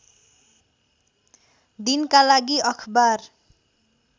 दिनका लागि अखबार